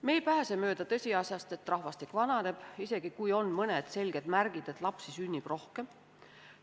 Me ei pääse mööda tõsiasjast, et rahvastik vananeb, isegi kui on mõned selged märgid, et lapsi sünnib rohkem.